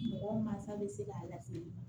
Mɔgɔ mansa bɛ se k'a lase